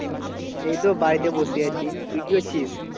এই তো বাড়িতে বসে আছি, তুই কি করছিস?